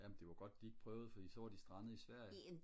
jamen det var godt de ikke prøvede fordi så var de strandet i Sverige